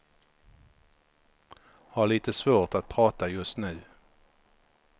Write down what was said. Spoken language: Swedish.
Har lite svårt att prata just nu.